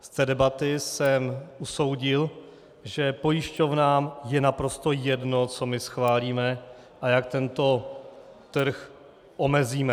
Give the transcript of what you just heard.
Z té debaty jsem usoudil, že pojišťovnám je naprosto jedno, co my schválíme a jak tento trh omezíme.